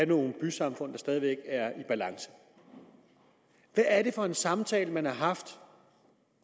nogle bysamfund der stadig væk er i balance hvad er det for en samtale man har haft